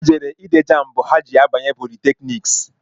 Ha jere ide jambu ha ji abanye politekniks